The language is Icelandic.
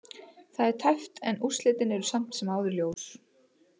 Það er tæpt en úrslitin eru samt sem áður ljós.